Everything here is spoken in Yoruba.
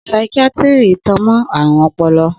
Saikíátíri tan mọ́ ààrùn ọpọlọ